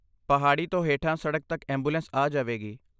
ਪਹਾੜੀ ਤੋਂ ਹੇਠਾਂ ਸੜਕ ਤੱਕ ਐਂਬੂਲੈਂਸ ਆ ਜਾਵੇਗੀ।